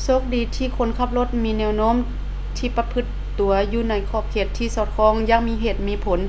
ໂຊກດີທີ່ຄົນຂັບລົດມີແນວໂນ້ມທີ່ປະພຶດຕົວຢູ່ໃນຂອບເຂດທີ່ສອດຄ່ອງຢ່າງມີເຫດມີຜົນ